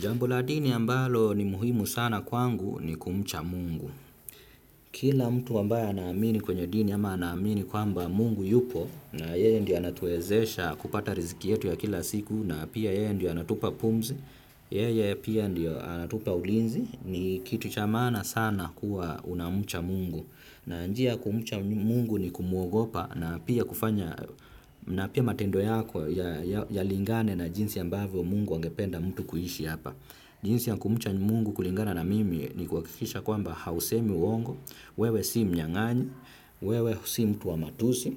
Jambo la dini ambalo ni muhimu sana kwangu ni kumcha mungu. Kila mtu ambaye anaamini kwenye dini ama anaamini kwamba mungu yupo na yeye ndiye anatuwezesha kupata riziki yetu ya kila siku na pia yeye ndiyo anatupa pumzi, yeye pia ndiyo anatupa ulinzi ni kitu cha maana sana kuwa unamcha mungu. Na njia ya kumcha mungu ni kumuogopa na pia kufanya, na pia matendo yako yalingane na jinsi ambavyo mungu angependa mtu kuishi hapa. Jinsi ya kumcha mungu kulingana na mimi ni kuhakikisha kwamba hausemi uongo, wewe si mnyang'anyi, wewe si mtu wa matusi,